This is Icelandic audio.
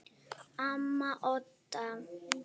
Amma Odda.